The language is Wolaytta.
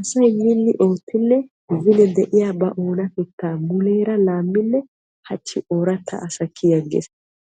Asay minni oottinne beni de'iya ba oonatetta muleera laaminne ha'i ooratta kiyyi agees.